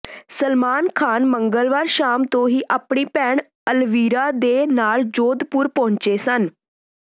ਸਲਮਾਨ ਖਾਨ ਮੰਗਲਵਾਰ ਸ਼ਾਮ ਤੋਂ ਹੀ ਆਪਣੀ ਭੈਣ ਅਲਵੀਰਾ ਦੇ ਨਾਲ ਜੋਧਪੁਰ ਪਹੁੰਚੇ ਸਨ